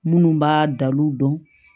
Minnu b'a dal'u dɔn